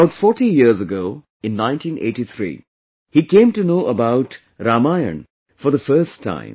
About 40 years ago, in 1983, he came to know about Ramayana for the first time